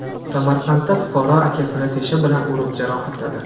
Samarqandda fuqaro akasini tesha bilan urib jarohatladi.